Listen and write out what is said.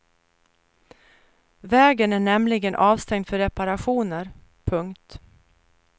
Vägen är nämligen avstängd för reparationer. punkt